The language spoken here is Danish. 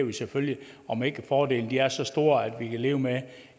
vi selvfølgelig om ikke fordelene er så store at vi kan leve med